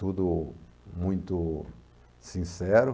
Tudo muito sincero.